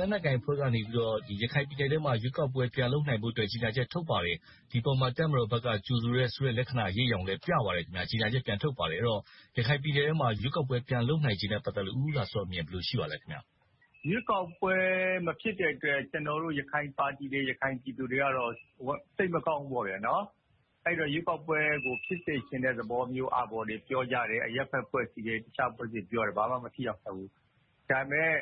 လက်နက်ကိုင်အဖွဲ့ကနေ ရခိုင်ပြည်နယ်အတွင်းမှာ ရွေးကောက်ပွဲ ပြန်လုပ်နိုင်ဖို့ ထုတ်ပါတယ်။ ဒီအပေါ်မှာ တပ်မတော်ဘက်က ကြိုဆိုတယ်ဆိုတဲ့ လက္ခဏာ၊ အရိပ်အရောင်လည်း ပြပါတယ်။ ကြေညာချက် ပြန်ထုတ်ပါတယ်။ ဆိုတော့ ရခိုင်ပြည်နယ်ထဲမှာ ရွေးကောက်ပွဲပြန်လုပ်နိုင်ခြေနဲ့ ပတ်သက်ပြီးတော့ ဦးဦးလှစောအမြင် ဘယ်လိုရှိပါသလဲ။ ရွေးကောက်ပွဲမဖြစ်တဲ့အတွက် ကျနော်တို့ ရခိုင်ပါတီတွေ၊ ရခိုင်ပြည်သူတွေကတော့ စိတ်မကောင်းဘူးပေါ့။ အဲဒီတော့ ရွေးကောက်ပွဲကို ဖြစ်စေချင်တဲ့သဘောမျိုးတွေ ပြောကြတယ်။ အရပ်ဘက်အဖွဲ့အစည်းတွေ၊ တခြားအဖွဲ့အစည်းတွေပြောတယ်။ ဘာမှ မထိရောက်ခဲ့ဘူး။ ဒါပေမဲ့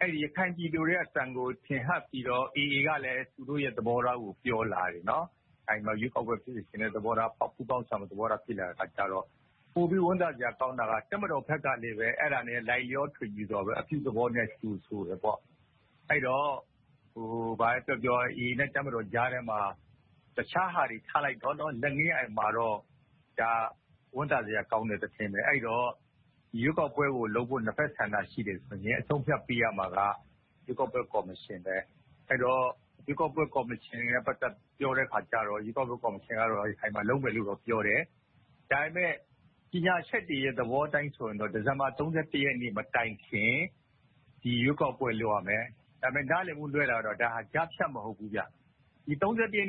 အဲဒီရခိုင်ပြည်သူတွေရဲ့ အသံကို ထင်ဟပ်ပြီးတော့ AA ကလည်း သူတို့ရဲ့သဘောထားကို ပြောလာတယ်။ ရွေးကောက်ပွဲဖြစ်စေချင်တဲ့သဘောထား၊ ပူးပေါင်းဆောင်ရွက်ချင်တဲ့ သဘောထား ပြောလာတယ်။ ပိုပြီးဝမ်းသာစရာကောင်းတာက တပ်မတော်ဘက်ကလည်း အဲဒါနဲ့ လိုက်လျောထွေညီပြီး အပြုသဘောနဲ့ ကြိုဆိုတယ်။ အဲဒီတော့ ဘာပဲပြောပြော AA နဲ့ တပ်မတော်ကြားထဲမှာ တခြားဟာတွေထားလိုက်တော့ လိုက်ငင်းမှာတော့ ဒါက ဝမ်းသာစရာကောင်းတဲ့ သတင်းပါ။ အဲဒီတော့ ရွေးကောက်ပွဲကိုလုပ်ဖို့ နှစ်ဘက်ဆန္ဒ ရှိတယ်ဆိုတော့ အဆုံးအဖြတ်ပေးရမှာက ရွေးကောက်ပွဲကော်မရှင် ဖြစ်တယ်။ အဲဒီတော့ ရွေးကောက်ပွဲကော်မရှင်နဲ့ ပြောတဲ့အခါကြတော့ ရွေးကောက်ပွဲကော်မရှင်က ရခိုင်မှာလုပ်မယ်လို့တော့ ပြောတယ်။ ဒါပေမဲ့ ကြေညာချက်တွေရဲ့ သဘောအတိုင်းဆိုရင်တော့ ဒီဇင်ဘာ ရက်နေ့မတိုင်ခင် ဒီရွေးကောက်ပွဲကို လုပ်ရမယ်။ ဒါပေမဲ့ နားလည်မှုလွဲတာကတော့ ဒါဟာ ကြားဖြတ်မဟုတ်ဘူး။ ရက်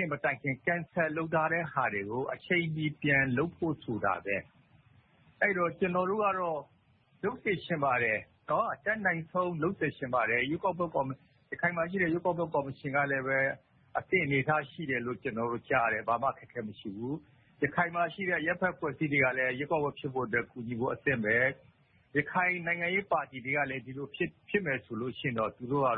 နေ့မတိုင်မီ Cancel လုပ်ထားတဲ့ဟာတွေကို အချိန်မီပြန်လုပ်ဖို့ဆိုတာ ဖြစ်တယ်။ အဲဒီတော့ ကျနော်တို့ကတော့ လုပ်စေချင်ပါတယ်။ အတတ်နိုင်ဆုံး လုပ်စေချင်ပါတယ်။ ရခိုင်မှာရှိတဲ့ ရွေးကောက်ပွဲကော်မရှင်ကလည်း အသင့်အနေအထားရှိတယ်လို့ ကျနော်တို့ကြားတယ်။ ဘာမှအခက်အခဲ မရှိဘူး။ ရခိုင်မှာရှိတဲ့ အရပ်ဘက်အဖွဲ့အစည်းတွေကလည်း ရွေးကောက်ပွဲဖြစ်ဖို့ အသင့်ပဲ။ ရခိုင်နိုင်ငံရေးပါတီတွေကလည်း ဒီလိုဖြစ်မယ်ဆိုရင်တော့ သူတို့က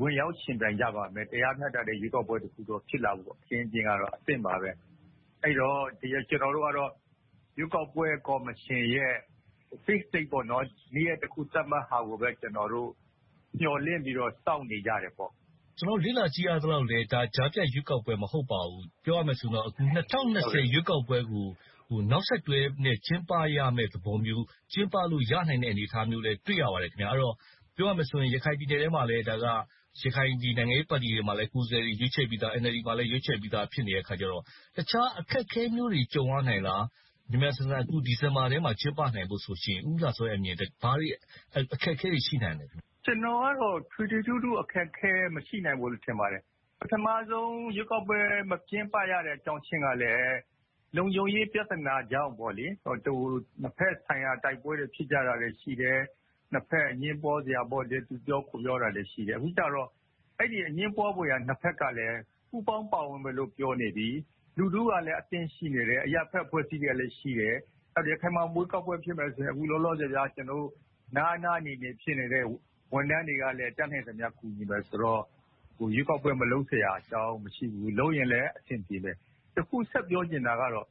ဝင်ရောက်ယှဉ်ပြိုင်ကြပါမယ်။ တရားမျှတတဲ့ ရွေးကောက်ပွဲတစ်ခု ဖြစ်လာမယ့် အခင်းအကျင်းကတော့ အသင့်ပါပဲ။ အဲဒီတော့ ကျနော်တို့က ရွေးကောက်ပွဲကော်မရှင်ရဲ့ fixed date နေ့ရက်တစ်ခု သတ်မှတ်တာကိုပဲ ကျနော်တို့ မျှော်လင့်ပြီးတော့ စောင့်နေကြပါတယ်။ ကျနော်တို့ လေ့လာကြည့်ရသလောက်လဲ ကြားဖြတ်ရွေးကောက်ပွဲ မဟုတ်ပါဘူး။ ပြောရမယ်ဆိုရင်တော့ ၂၀၂၀ ရွေးကောက်ပွဲကို နောက်ဆက်တွဲအနေနဲ့ ကျင်းပရမယ့်သဘောမျိုး၊ ကျင်းပလို့ရနိုင်တဲ့ အနေအထားမျိုးလည်း တွေ့ရပါတယ်။ အဲဒီတော့ ပြောရမယ်ဆိုရင်လဲ ရခိုင်ပြည်နယ်ထဲမှာ ရခိုင်နိုင်ငံရေးပါတီတွေမှာလည်း ကိုယ်စားလှယ်တွေ ရွေးချယ်ပြီးသာ၊ NLD မှာလည်း ရွေးချယ်ပြီးသာ ဖြစ်နေတော့ အခြားအခက်အခဲမျိုးတွေ ကြုံရနိုင်လား။ မြန်မြန်ဆန်ဆန် ဒီဇင်ဘာထဲမှာ ကျင်းပနိုင်ဖို့ဆိုရင် ဦးဦးလှစော ဘာတွေအခက်အခဲတွေ ရှိနိုင်ပါလဲ။ ကျနော်ကတော့ ထွေထွေထူးထူး အခက်အခဲ မရှိပါဘူးလို့ ထင်ပါတယ်။ ပထမဆုံး ရွေးကောက်ပွဲ မကျင်းပရတဲ့ အကြောင်းရင်းကလဲ လုံခြုံရေးပြဿနာကြောင့်။ နှစ်ဘက်ဆိုင်ရာ တိုက်ပွဲတွေ ဖြစ်ကြတာလည်း ရှိတယ်။ နှစ်ဘက်အငြင်းပွားစရာ - သူပြောကိုယ်ပြောတာတွေ ရှိခဲ့တယ်။ အခုကြတော့ အဲဒီအငြင်းပွားစရာ နှစ်ဘက်ကလဲ ပူးပေါင်းပါဝင်မယ်လို့ ပြောနေပြီ။ လူထုကလည်း အသင့်ရှိနေတယ်။ အရပ်ဘက်အဖွဲ့အစည်းတွေကလည်း ရှိတယ်။ ရခိုင်မှာ ရွေးကောက်ပွဲဖြစ်မယ်ဆိုရင် အခုလောလောဆယ် နားနားနေနေ ဖြစ်နေတဲ့ ဝန်ထမ်းတွေကလည်း တတ်နိုင်သမျှ ကူညီမယ်ဆိုတော့ ရွေးကောက်ပွဲ မလုပ်စရာအကြောင်း မရှိဘူး။ လုပ်ရင်လဲ အဆင်ပြေမယ်။ တစ်ခုဆက်ပြောချင်တာကတော့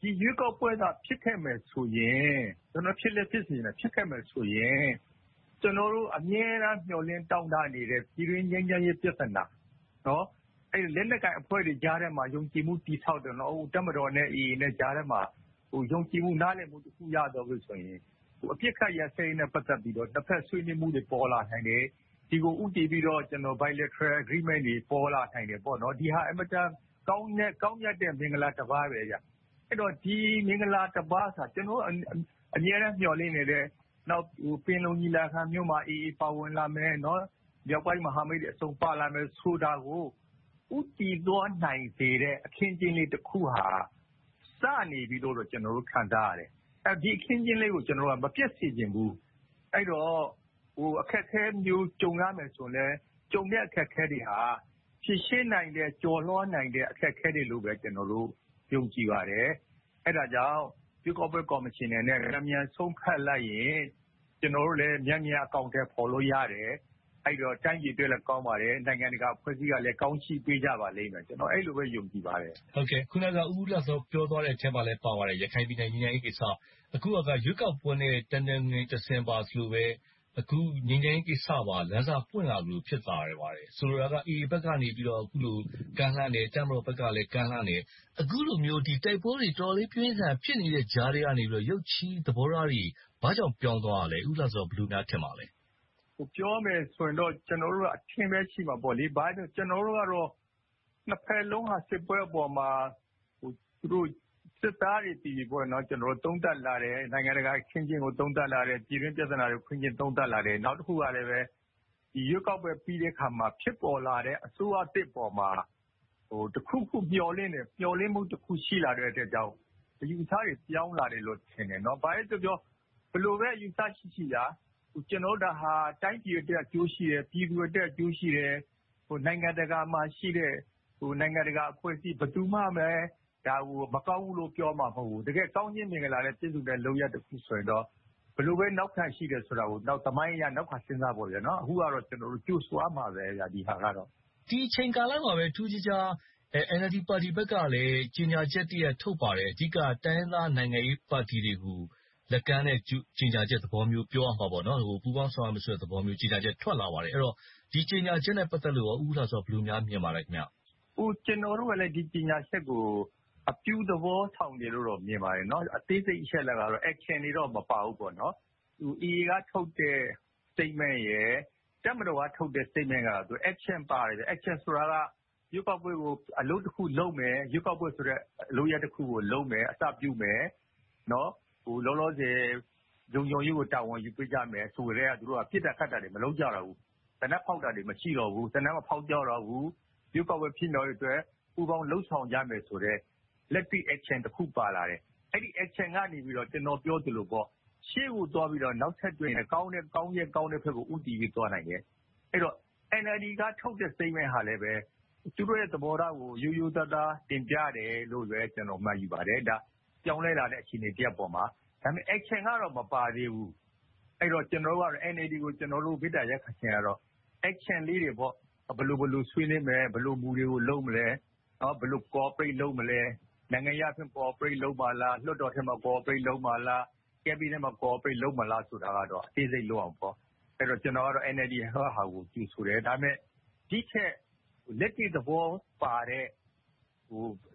ဒီရွေးကောက်ပွဲသာ ဖြစ်ခဲ့မယ်ဆိုရင် ကျနော်က ဖြစ်လည်းဖြစ်စေချင်တာ။ ဖြစ်ခဲ့မယ်ဆိုရင် ကျနော်တို့ အမြဲတမ်းမျှော်လင့်တောင်းတနေတဲ့ ပြည်တွင်းငြိမ်းချမ်းရေးပြဿနာ - အဲဒီလက်နက်ကိုင်အဖွဲ့တွေကြားထဲမှာ ယုံကြည်မှုတည်ဆောက်တာ။ တပ်မတော်နဲ့ AA ကြားထဲမှာ ယုံကြည်မှု နားလည်မှု တစ်ခုရသွားပြီဆိုရင် အပစ်အခတ်ရပ်စဲရေးနဲ့ ပတ်သက်ပြီးတော့ နှစ်ဘက်ဆွေးနွေးမှုတွေ ပေါ်လာနိုင်တယ်။ ဒီကိုဦးတည်ပြီးတော့ bilateral agreement တွေ ပေါ်လာနိုင်တယ်။ ဒီဟာက အင်မတန်ကောင်းမြတ်တဲ့ မင်္ဂလာတစ်ပါ ဖြစ်တယ်။ ဒါက ကျနော်တို့ အမြဲတမ်းမျှော်လင့်နေတဲ့။ နောက် ပင်လုံညီလာခံမျိုးမှာ AA ပါဝင်နိုင်မယ်။ မြောက်ပိုင်းမဟာမိတ်တွေအဆုံး ပါလာမယ်ဆိုတာကို ဦးတည်သွားနိုင်စေတဲ့ အခင်းအကျင်းလေးတစ်ခုဟာ စနေပြီလို့တော့ ကျနော်တို့ ခံစားရတယ်။ ဒီအခင်းအကျင်းလေးကို ကျနော်တို့က မပျက်စေချင်ဘူး။ အဲဒီတော့ အခက်အခဲမျိုးစုံ ကြုံရမယ်ဆိုရင်လဲ၊ ကြုံတဲ့အခက်အခဲတွေက ဖြေရှင်းနိုင်တဲ့၊ ကျော်လွှာနိုင်တဲ့ အခက်အခဲတွေလိုပဲ ကျနော်တို့ ယုံကြည်ပါတယ်။ အဲဒါကြောင့် ရွေးကောက်ပွဲကော်မရှင်အနေနဲ့ မြန်မြန်ဆုံးဖြတ်လိုက်ရင် ကျနော်တို့လည်း မြန်မြန်အကောင်အထည်ဖော်နိုင်လို့ရတယ်။ တိုင်းပြည်အတွက်လည်း ကောင်းပါတယ်။ နိုင်ငံတကာအဖွဲ့အစည်းတွေကလည်း ကောင်းချီးပေးကြမယ်လို့ ကျနော် အဲဒီလိုပဲ ယုံကြည်ပါတယ်။ အခုနက ဦးဦးလှစော ပြောသွားတဲ့အထဲမှာ ပါပါတယ်။ ရခိုင်ပြည်နယ် ငြိမ်းချမ်းရေးကိစ္စ။ အခုဟာက ရွေးကောက်ပွဲနဲ့ တနွယ်ငင်တစင်ပါ ဆိုသလိုပဲ - ငြိမ်းချမ်းရေးကိစ္စပါ လမ်းစပွင့်လာသလို ဖြစ်လာတယ်။ ဆိုလိုတာက AA ဘက်ကနေ အခုလို ကမ်းလှမ်းတယ်။ တပ်မတော်ဘက်ကလည်း ကမ်းလှမ်းတယ်။ အခုလိုမျိုး တိုက်ပွဲတွေ တော်တော်လေး ပြင်းပြင်းထန်ထန် ဖြစ်နေတဲ့ကြားထဲကနေ ရုတ်ချည်းသဘောထားတွေ ဘာကြောင့်ပြောင်းသွားတာလဲ။ ဦးလှစော ဘယ်လိုများ ထင်ပါသလဲ။ ပြောရမယ်ဆိုရင်တော့ ကျနော်တို့က အထင်ပဲ ရှိမှာပေါ့။ ဘာဖြစ်လို့လဲဆိုတော့ ကျနော်တို့ကတော့ နှစ်ဘက်စလုံးက စစ်ပွဲအပေါ်မှာ သူတို့စစ်သားတွေက သုံးသပ်လာတယ်။ နိုင်ငံတကာအချင်းချင်း သုံးသပ်လာတယ်။ ပြည်တွင်းပြဿနာတွေကို အချင်းချင်းသုံးသပ်လာတယ်။ နောက်တစ်ခုကလဲ ရွေးကောက်ပွဲပြီးတဲ့အခါမှာ ဖြစ်ပေါ်လာတဲ့ အစိုးရသစ်ပေါ်မှာ တစ်ခုခုမျှော်လင့်တယ်။ မျှော်လင့်မှုတစ်ခု ရှိလာတဲ့အတွက်ကြောင့် အယူအဆတွေ ပြောင်းလာတယ်လို့ ထင်တယ်။ ဘာပဲပြောပြော ဘယ်လိုပဲအယူအဆရှိရှိ ဒါဟာ တိုင်းပြည်အတွက် အကျိုးရှိတယ်။ ပြည်သူအတွက် အကျိုးရှိတယ်။ နိုင်ငံတကာမှာရှိတဲ့ နိုင်ငံတကာအဖွဲ့အစည်း ဘယ်သူမှ ဒါကို မကောင်းဘူးလို့ ပြောမှာမဟုတ်ဘူး။ တကယ်ကောင်းစေချင်တဲ့ လုပ်ရပ်တစ်ခုဆိုရင်တော့ ဘယ်လိုပဲ နောက်ခံရှိတယ်ဆိုတာကို နောက်သမိုင်းအရ နောက်ခံစဉ်းစားပေါ့။ အခုကတော့ ကြိုဆိုရမှာပဲ။ ဒီအချိန်ကာလမှာပဲ ထူးထူးခြားခြား NLD ပါတီဘက်ကလည်း ကြေညာချက်တစ်ရပ် ထုတ်ပါတယ်။ အဓိက တိုင်းရင်းသားနိုင်ငံရေးပါတီတွေကို လက်ကမ်းတဲ့ ကြေညာချက်သဘောမျိုး ပြောရမှာပေါ့။ ပူးပေါင်းဆောင်ရွက်မယ်ဆိုတဲ့ ကြေညာချက်ထွက်လာပါတယ်။ အဲဒီတော့ ဒီကြေညာချက်နဲ့ ပတ်သက်လို့ကော ဦးဦးလှစော ဘယ်လိုများ မြင်ပါသလဲ။ ကျနော်တို့ကလည်း ဒီကြေညာချက်ကို အပြုသဘောဆောင်တယ်လို့တော့ မြင်ပါတယ်။ အသေးစိတ်အချက်အလက်၊ action တွေကတော့ မပါဘူးပေါ့။ AA က ထုတ်တဲ့ statement, တပ်မတော်ကထုတ်တဲ့ ကြေညာချက်ကတော့ action တွေပါတယ်။ action ဆိုတာကတော့ ရွေးကောက်ပွဲကို အလုပ်တစ်ခုလုပ်မယ်။ ရွေးကောက်ပွဲဆိုတဲ့ လုပ်ရပ်တစ်ခုကို အစပြုမယ်။ လောလောဆယ် လုံခြုံရေးကို တာဝန်ယူပေးကြမယ် ဆိုကတည်းက ပစ်တာခတ်တာတွေ မလုပ်ကြတော့ဘူး။ သေနတ်ဖောက်သံတွေ မရှိကြတော့ဘူး။ ရွေးကောက်ပွဲ ဖြစ်မြောက်ရေးအတွက် ပူးပေါင်းလုပ်ဆောင်ကြမယ်ဆိုတဲ့ လက်တွေ့ action တစ်ခု ပါလာတယ်။ အဲဒီ action လုပ်ရပ်ကနေ ကျနော်ပြောသလို ရှေ့ကိုသွားပြီးတော့ နောက်ထပ် ကောင်းတဲ့ဘက်ကို ဦးတည်သွားနိုင်တယ်။ အဲဒီတော့ NLD က ထုတ်ပြန်တဲ့ ကြေညာချက်ကလဲ သူတို့ရဲ့ သဘောထားကို ရိုးရိုးသားသား တင်ပြတယ်လို့ပဲ ကျနော် မှတ်ယူပါတယ်။ ဒါက ပြောင်းလဲလာတဲ့ အခြေအနေတစ်ရပ်ပေါ်မှာ။ ဒါပေမဲ့ action ကတော့ မပါသေးဘူး။ အဲဒီတော့ ကျနော်တို့က NLD ကို ကျနော်တို့ မေတ္တာရပ်ခံချင်တာကတော့ action လေးတွေ ဘယ်လိုဘယ်လို ဆွေးနွေးမယ်။ ဘယ်လိုမူတွေကို လုပ်မယ်။ ဘယ်လိုပူးပေါင်းလုပ်ဆောင်မလဲ။ နိုင်ငံရေးအရ ပူးပေါင်းဆောင်ရွက်မလား။ လွှတ်တော်ထဲမှာ ပူးပေါင်းဆောင်ရွက်မလား။ အစိုးရအဖွဲ့ထဲမှာ ပူးပေါင်းဆောင်ရွက်မလား ဆိုတာတွေကိုတော့ အသေးစိတ်လုပ်ရအုံးပါမယ်။ အဲဒီတော့ ကျနော်ကတော့ NLD ကြေညာချက်ကို ကြိုဆိုတယ်။ ဒါပေမဲ့ ဒီထက်လက်တွေ့သဘောပါတဲ့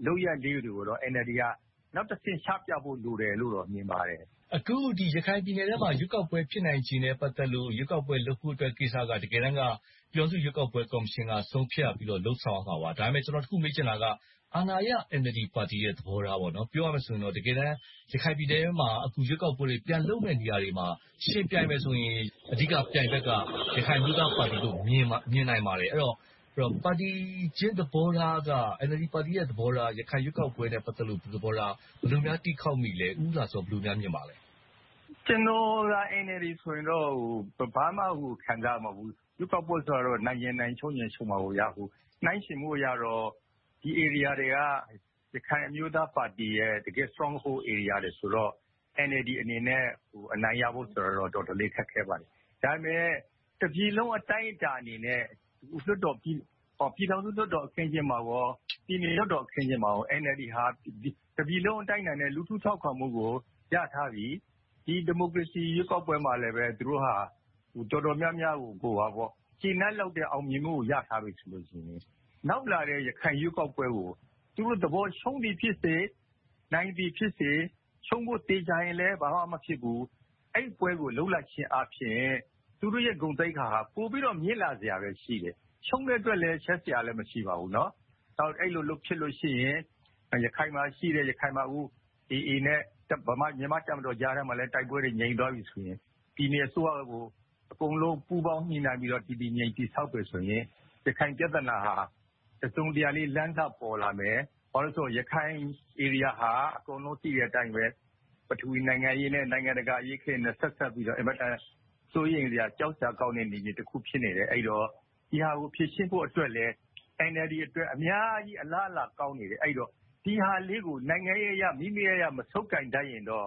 လုပ်ရပ်လေးတွေကိုတော့ NLD က နောက်တစ်ဆင့် ချပြဖို့ လိုတယ်လို့တော့ မြင်ပါတယ်။ အခု ရခိုင်ပြည်နယ်အတွင်းမှာ ရွေးကောက်ပွဲ ဖြစ်နိုင်ချေနဲ့ ပတ်သက်လို့ ရွေးကောက်ပွဲလုပ်ဖို့ကိစ္စက တကယ်တမ်းက ပြည်ထောင်စုရွေးကောက်ပွဲ ကော်မရှင်က ဆုံးဖြတ်ပြီးတော့ လုပ်ဆောင်ရမှာပေါ့။ ဒါပေမဲ့ ကျနော် တစ်ခုမေးချင်တာက အာဏာရပါတီ NLD ရဲ့ သဘောထားပေါ့။ ပြောရမယ်ဆိုရင်တော့ တကယ်တမ်း ရခိုင်ပြည်နယ်အတွင်းမှာ အခု ရွေးကောက်ပွဲတွေ ပြန်လုပ်မယ့်နေရာတွေမှာ ယှဉ်ပြိုင်မယ်ဆိုရင် အဓိက ပြိုင်ဘက်က ရခိုင်အမျိုးသားပါတီလို့ မြင်နိုင်ပါတယ်။ အဲဒီတော့ ပါတီချင်းသဘောထားက NLD ပါတီရဲ့ သဘောထား၊ ရခိုင်ရွေးကောက်ပွဲနဲ့ ပတ်သက်လို့ သဘောထား ဘယ်လိုများ တီးခေါက်မိပါသလဲ။ ဦးဦးလှစော ဘယ်လိုများ မြင်မိပါသလဲ။ ကျနော်သာ NLD ဆိုရင်တော့ ဘာမှခံစားရမှာ မဟုတ်ဘူး။ ရွေးကောက်ပွဲဆိုတာ နိုင်ချင်နိုင်၊ ရှုံးချင်ရှုံးမှာပေါ့။ နှိုင်းယှဉ်မှုအရတော့ ဒီနေရာတွေက ရခိုင်အမျိုးသားပါတီရဲ့ အဓိက stronghold နေရာတွေ ဖြစ်တော့ NLD အနေနဲ့ အနိုင်ရဖို့ဆိုတာတော့ တော်တော်လေး ခက်ခဲပါတယ်။ ဒါပေမဲ့ တပြည်လုံးအတိုင်းအတာနဲ့ ပြည်ထောင်စုလွှတ်တော် အခင်းအကျင်းမှာနဲ့ ပြည်နယ်လွှတ်တော်အခင်းအကျင်းတွေမှာ NLD ဟာ တပြည်လုံးအတိုင်းအတာနဲ့ လူထုထောက်ခံမှုကို ရထားပြီ။ ဒီမိုကရေစီ ရွေးကောက်ပွဲမှာလဲ သူတို့ဟာ တော်တော်များများကို ကျေနပ်လောက်တဲ့ အောင်မြင်မှုကို ရထားပြီဆိုရင် နောက်လာမယ့် ရခိုင်ရွေးကောက်ပွဲကို သူတို့သဘော ရှုံးသည်ဖြစ်စေ၊ နိုင်သည်ဖြစ်စေ၊ ရှုံးဖို့သေချာရင်လဲ ဘာမှမဖြစ်ဘူး။ အဲဒီပွဲကို လုပ်လိုက်ခြင်းအားဖြင့် သူတို့ရဲ့ ဂုဏ်သိက္ခာက ပိုပြီးတော့ မြင့်လာစရာပဲ ရှိတယ်။ ရှုံးတဲ့အတွက်လည်း ရှက်စရာ မရှိပါဘူး။ အဲဒီလို လုပ်ဖြစ်တယ်ဆိုရင် ရခိုင်မှာရှိတဲ့ AA နဲ့ မြန်မာ့တပ်မတော်ကြား တိုက်ပွဲတွေ ငြိမ်သွားပြီဆိုရင် ပြည်နယ်အစိုးရကို အကုန်လုံးပူးပေါင်းညှိနှိုင်းပြီးတော့ တည်တည်ငြိမ်ငြိမ် တည်ဆောက်မယ်ဆိုရင် ရခိုင်ပြဿနာဟာ တစုံတရာလေး လမ်းစပေါ်လာမယ်။ ဘာဖြစ်လို့လဲဆိုရင် ရခိုင်ဧရိယာဟာ အကုန်လုံး သိတဲ့အတိုင်း ပထဝီနိုင်ငံရေးနဲ့ နိုင်ငံတကာအရေးတွေနဲ့ ဆက်စပ်ပြီးတော့ အင်မတန် စိုးရိမ်စရာ ကြောက်စရာကောင်းတဲ့ နယ်မြေတစ်ခု ဖြစ်နေတယ်။ အဲဒီတော့ ဒီဟာကို ဖြေရှင်းဖို့အတွက်လဲ NLD အတွက် အများကြီးအလားအလာကောင်းနေတယ်။ အဲဒီတော့ ဒီဟာလေးကို နိုင်ငံရေးအရ မိမိရရ မဆုပ်ကိုင်တတ်ရင်တော့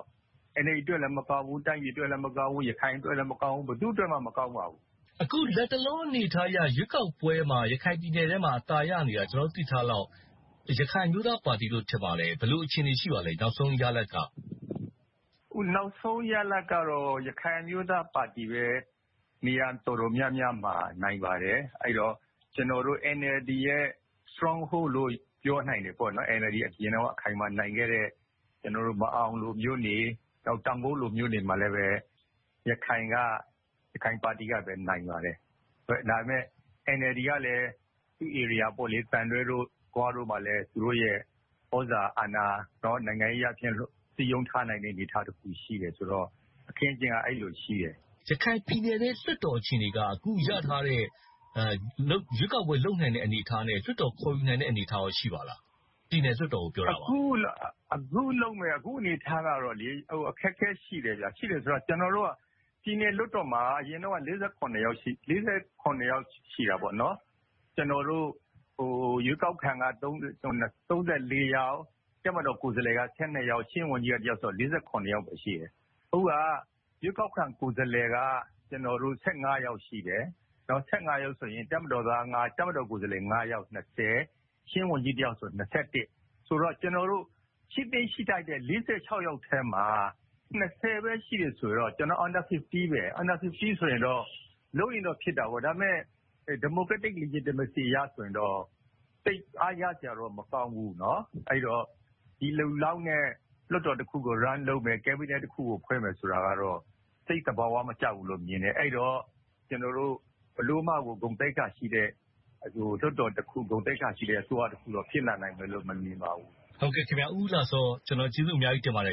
NLD အတွက်လည်း မကောင်းဘူး။ တိုင်းပြည်အတွက်လည်း မကောင်းဘူး။ ရခိုင်အတွက်လည်း မကောင်းဘူး။ ဘယ်သူ့အတွက်မှလည်း မကောင်းပါဘူး။ အခုလက်တလော အနေအထားကြီးက ရွေးကောက်ပွဲမှာ ရခိုင်ပြည်နယ်ထဲမှာ အသာရနေတာ ကျနော်တို့ သိထားသလောက် ရခိုင်အမျိုးသားပါတီလို့ ထင်ပါတယ်။ ဘယ်လို အခြေအနေ ရှိပါသလဲ။ နောက်ဆုံးရလဒ်က။ အခုနောက်ဆုံး ရလဒ်ကတော့ ရခိုင်အမျိုးသားပါတီပဲ နေရာတော်တော်များများမှာ နိုင်ပါတယ်။ အဲဒီတော့ ကျနော်တို့ NLD ရဲ့ stronghold လို့ ပြောနိုင်တဲ့ NLD အရင်တုန်းက အခိုင်အမာနိုင်ခဲ့တဲ့ မာန်အောင်လို့မြို့တွေ၊ တောင်ကုတ်လို့မြို့မှာလည်း ရခိုင်ပါတီကပဲ အနိုင်ရခဲ့ပါတယ်။ ဒါပေမဲ့ NLD ကလည်း သူ့နေရာတွေဖြစ်တဲ့ သံတွဲ၊ ဂွတို့မှာလည်း သူတို့ရဲ့ သြဇာအာဏာ နိုင်ငံရေးအားဖြင့် စည်းရုံးထားနိုင်တဲ့ အနေအထားတစ်ခု ရှိတယ်ဆိုတော့ အခင်းအကျင်းက အဲဒီလိုရှိတယ်။ ရခိုင်ပြည်နယ်ထဲ လွှတ်တော်အခြေအနေက အခု ရထားတဲ့ ရွေးကောက်ပွဲလုပ်နိုင်တဲ့ အနေအထားနဲ့ လွှတ်တော်ခေါ်ယူနိုင်တဲ့ အနေအထား ရှိပါသလား။ ပြည်နယ်လွှတ်တော်ကို ပြောတာပါ။ အခု အနေအထားကတော့ အခက်အခဲ ရှိတယ်။ အခက်အခဲ ရှိတယ်ဆိုတာက ပြည်နယ်လွှတ်တော်မှာ အရင်တုန်းက ယောက် ရှိတယ်။ ရွေးကောက်ခံက ယောက်၊ တပ်မတော်ကိုယ်စားလှယ်က ယောက်၊ ချင်းဝန်ကြီးက ယောက်ဆိုတော့ စုစုပေါင်း ယောက်ပဲ ရှိတယ်။ အခုဟာက ရွေးကောက်ခံကိုယ်စားလှယ်က ယောက်၊ တပ်မတော်က ယောက်ဆိုတော့ ၊ ချင်းဝန်ကြီး ယောက်ဆိုတော့ စုစုပေါင်း ယောက်။ ကျနော်တို့ ရှိသင့်ရှိထိုက်တဲ့ ယောက်ထဲမှာ ပဲ ရှိတယ်ဆိုတော့ under 50 ဆိုတော့ လုပ်ရင်တော့ ဖြစ်တာပေါ့။ ဒါပေမဲ့ democratically democracy အရဆိုရင်တော့ သိပ်အားရစရာတော့ မကောင်းဘူး။ အဲဒီတော့ ဒီလူလောက်နဲ့ လွှတ်တော်တစ်ရပ်ကို စီမံဆောင်ရွက်မယ်။ Cabinet တစ်ခုကို စီမံအုပ်ချုပ်မယ်ဆိုတာကတော့ သိပ်သဘာဝမကျဘူးလို့ မြင်တယ်။ အဲဒီတော့ ကျနော်တို့ ဘယ်လိုမှကို ဂုဏ်သိက္ခာရှိတဲ့ လွှတ်တော်တစ်ခု၊ ဂုဏ်သိက္ခာရှိတဲ့ အစိုးရတစ်ရပ်တော့ ဖြစ်လာနိုင်မယ်လို့တော့ မမြင်ပါဘူး။ အခုလိုဖြေကြားပေးတဲ့အတွက် ဦးဦးလှစောကို ကျေးဇူးအများကြီးတင်ပါတယ်